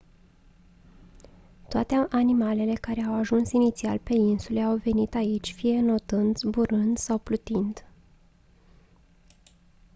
toate animalele care au ajuns inițial pe insule au venit aici fie înotând zburând sau plutind